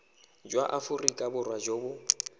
jwa aforika borwa jo bo